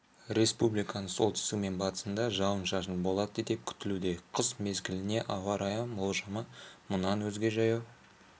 республиканың солтүстігі мен батысында жауын-шашын болады деп күтілуде қыс мезгіліне ауа райы болжамы мұнан өзге жаяу